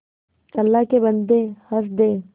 अल्लाह के बन्दे हंस दे